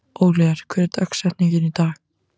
Oliver, hver er dagsetningin í dag?